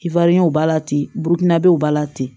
ba la ten burukina o b'a la ten